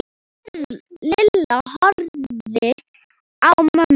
Lilla horfði á mömmu.